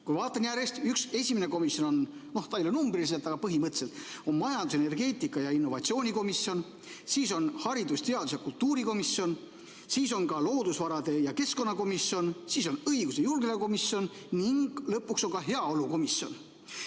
Kui ma vaatan järjest, siis üks, esimene komisjon – no ta ei ole numbriliselt, aga põhimõtteliselt – on majandus-, energeetika- ja innovatsioonikomisjon; siis on haridus-, teadus- ja kultuurikomisjon; siis on ka loodusvarade ja keskkonnakomisjon, siis on õigus- ja julgeolekukomisjon ning lõpuks on ka heaolukomisjon.